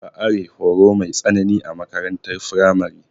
Ba are horo mai tsanani a makarantar firamare.